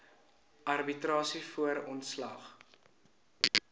arbitrasie voor ontslag